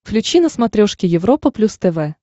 включи на смотрешке европа плюс тв